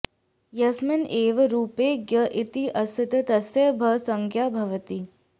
यस्मिन् एव रूपे ज्ञ इति अस्ति तस्य भः संज्ञा भवति